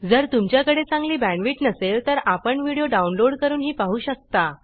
जर तुमच्याकडे चांगली बॅंडविड्त नसेल तर आपण व्हिडिओ डाउनलोड करूनही पाहू शकता